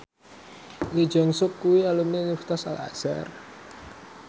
Lee Jeong Suk kuwi alumni Universitas Al Azhar